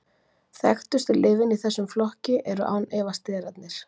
Þekktustu lyfin í þessum flokki eru án efa sterarnir.